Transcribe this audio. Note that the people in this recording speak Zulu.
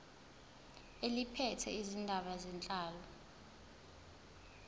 eliphethe izindaba zenhlalo